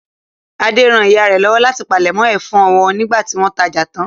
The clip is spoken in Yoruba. Adé ran ìyá rẹ̀ lọ́wọ́ láti palẹ̀mọ́ ẹ̀fọ́ wọn nígbà tí wọ́n tajà tán.